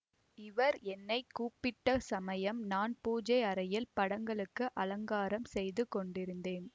இவர் என்னை கூப்பிட்ட சமயம் நான் பூஜை அறையில் படங்களுக்கு அலங்காரம் செய்து கொண்டிருந்தேன்